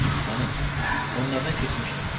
Xanım, onlardan keçmişdi.